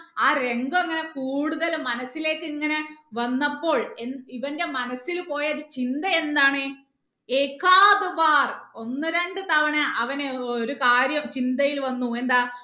ആ രംഗം ഇങ്ങനെ കൂടുതൽ മനസിലേക്ക് ഇങ്ങനെ വന്നപ്പോൾ എന്താ ഇവന്റെ മനസ്സിൽ പോയ ഒരു ചിന്ത എന്താണ് ഒന്ന് രണ്ട് തവണ അവന് ഒരു കാര്യം ചിന്തയിൽ വന്നു എന്താ